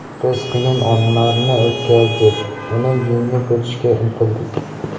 Biz qiyin onlarni o‘tkazdik, uni yengib o‘tishga intildik.